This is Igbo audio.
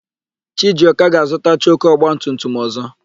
Chijioka ga-azụta choku ọgbatumtum ọ̀zọ́.